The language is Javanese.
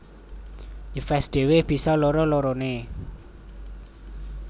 Yves dhéwé bisa loro loroné